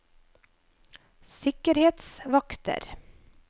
sikkerhetsvakter